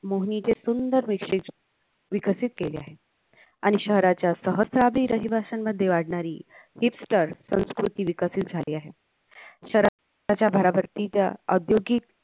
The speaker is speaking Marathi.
मोहिनीचे सुंदर विकसित केले आहेत आणि शहराच्या सहस्वदी रहिवाश्यांमध्ये वाढणारी हिचतर संस्कृती विकसित झाली आहे शहरात तच्या भरभरतीचा औद्योगिक